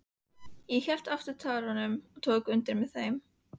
Ég hélt aftur af tárunum og tók undir með þeim.